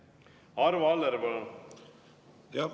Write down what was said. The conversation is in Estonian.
Arvo Aller, palun!